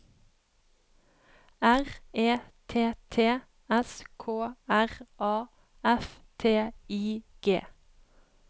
R E T T S K R A F T I G